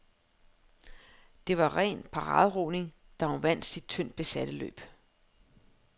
Det var ren paraderoning, da hun vandt sit tyndt besatte løb.